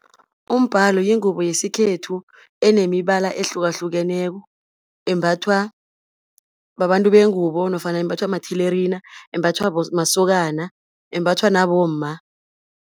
Umbhalo yingubo yesikhethu enemibala ehlukahlukeneko, embathwa babantu bengubo, nofana imbathwa mathelerina embathwa masokana, embathwa nabomma.